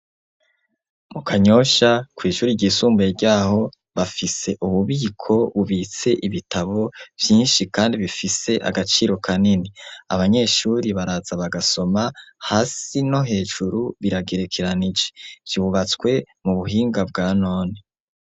Mu Kanyosha, kw'ishuri ryisumbuye ry'aho, bafise ububiko, bubitse ibitabo vyinshi, kandi bifise agaciro kanini, abanyeshuri baraza bagasoma hasi no hejuru, biragerekeranije vyubatswe mu buhinga bwa none.